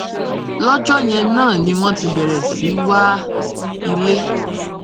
lọjọ yẹn náà ni wọn ti bẹrẹ sí í wa ilé